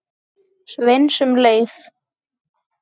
Sveins um leið.